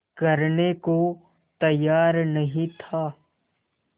करने को तैयार नहीं था